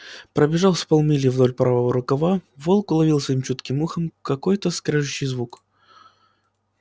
пробежав с полмили вдоль правого рукава волк уловил своим чутким ухом какой то скрежещущий звук